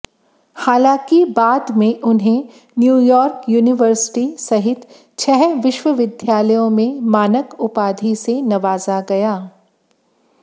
हालांकि बाद में उन्हें न्यूयॉर्क यूनिवर्सिटी सहित छह विश्वविद्यालयों में मानक उपाधि से नवाजा गया